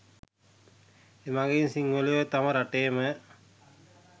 එමගින් සිංහලයෝ තම රටේම